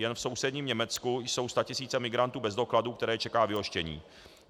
Jen v sousedním Německu jsou statisíce migrantů bez dokladů, které čeká vyhoštění.